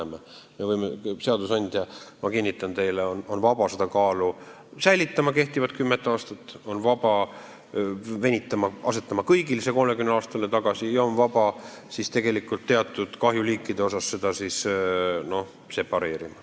Ma kinnitan teile, et seadusandja on vaba seda kaalu samas seisus hoidma ja jätma jõusse kehtivad kümme aastat, on vaba asja venitama, on vaba muutma kõigil see 30 aastaks tagasi ja on vaba ka regulatsiooni teatud kahjuliikide osas separeerima.